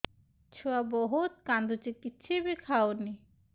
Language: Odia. ଛୁଆ ବହୁତ୍ କାନ୍ଦୁଚି କିଛିବି ଖାଉନି